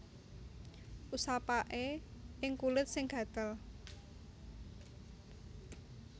Usapaké ing kulit sing gatel